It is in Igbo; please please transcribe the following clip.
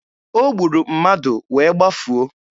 O gburu mmadụ wee gbafuo.